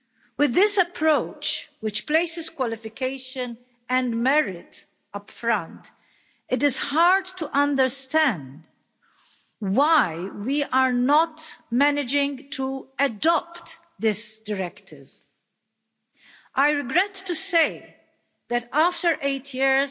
With this approach, which places qualification and merit upfront, it is hard to understand why we are not managing to adopt this directive. I regret to say that, after 8 years,